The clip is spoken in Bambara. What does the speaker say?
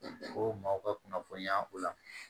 Ko maaw ka kunnafoniya o la